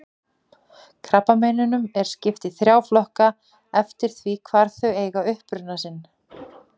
Krabbameinum er skipt í þrjá flokka eftir því hvar þau eiga uppruna sinn.